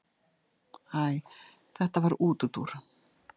Æ þetta var útúrdúr.